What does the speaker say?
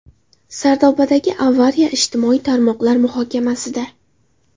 Sardobadagi avariya ijtimoiy tarmoqlar muhokamasida.